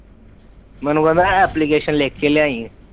ਮੈਨੂੰ ਕਹਿੰਦਾ ਐਪਲੀਕੇਸ਼ਨ ਲਿਖ ਕੇ ਲਿਆਈ